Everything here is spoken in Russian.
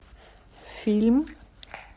фильм